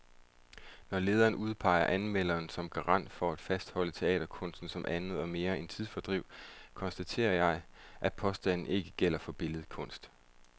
Når lederen udpeger anmelderen som garant for at fastholde teaterkunsten som andet og mere end tidsfordriv, konstaterer jeg, at påstanden ikke gælder for billedkunst.